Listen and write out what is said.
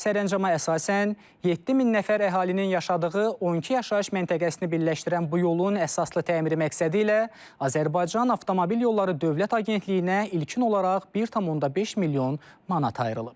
Sərəncama əsasən 7000 nəfər əhalinin yaşadığı 12 yaşayış məntəqəsini birləşdirən bu yolun əsaslı təmiri məqsədi ilə Azərbaycan Avtomobil Yolları Dövlət Agentliyinə ilkin olaraq 1,5 milyon manat ayrılıb.